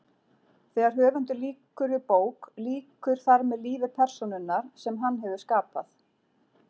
Þegar höfundur lýkur við bók lýkur þar með lífi persónunnar sem hann hefur skapað.